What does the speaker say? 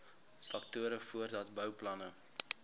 faktore voordat bouplanne